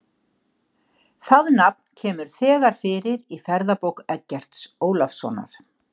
Það nafn kemur þegar fyrir í Ferðabók Eggerts Ólafssonar.